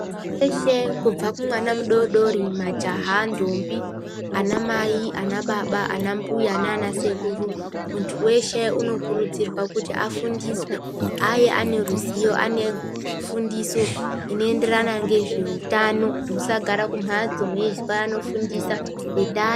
Munthu weshe kubva kumwana mudodori majaha ntombi ana Mai ana baba ana mbuya nana sekuru munthu weshe unokurudzirwa kuti afundiswe ave ane ruzivo ane fundiso inoenderana ngezveutano musagara kumhatso meizwa anofundisa iba ...